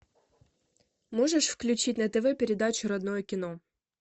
можешь включить на тв передачу родное кино